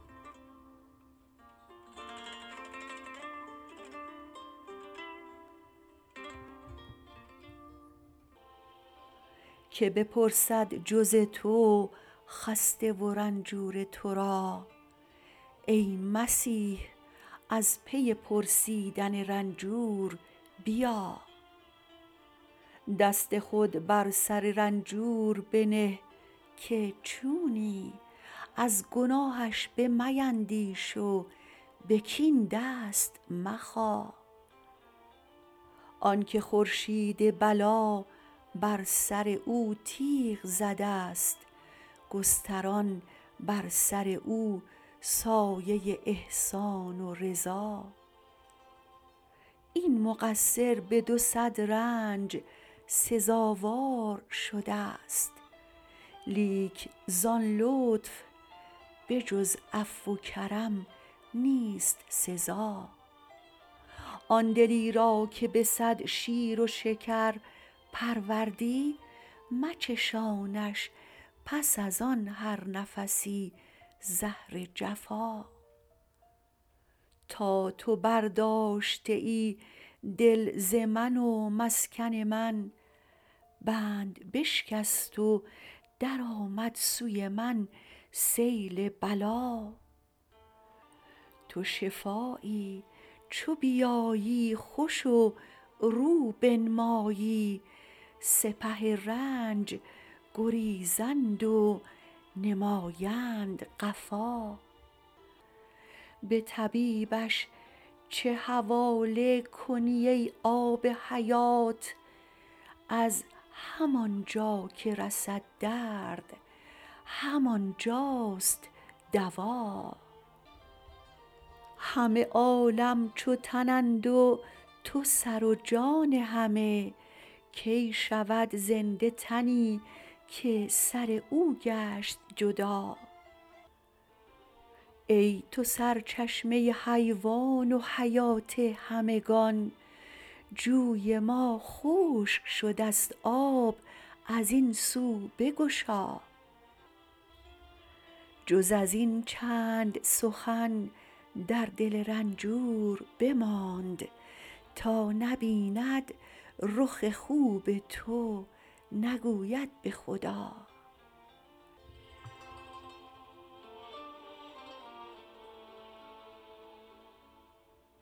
کی بپرسد جز تو خسته و رنجور تو را ای مسیح از پی پرسیدن رنجور بیا دست خود بر سر رنجور بنه که چونی از گناهش بمیندیش و به کین دست مخا آنک خورشید بلا بر سر او تیغ زده ست گستران بر سر او سایه احسان و رضا این مقصر به دو صد رنج سزاوار شده ست لیک ز آن لطف به جز عفو و کرم نیست سزا آن دلی را که به صد شیر و شکر پروردی مچشانش پس از آن هر نفسی زهر جفا تا تو برداشته ای دل ز من و مسکن من بند بشکست و درآمد سوی من سیل بلا تو شفایی چو بیایی خوش و رو بنمایی سپه رنج گریزند و نمایند قفا به طبیبش چه حواله کنی ای آب حیات از همان جا که رسد درد همان جاست دوا همه عالم چو تنند و تو سر و جان همه کی شود زنده تنی که سر او گشت جدا ای تو سرچشمه حیوان و حیات همگان جوی ما خشک شده ست آب از این سو بگشا جز از این چند سخن در دل رنجور بماند تا نبیند رخ خوب تو نگوید به خدا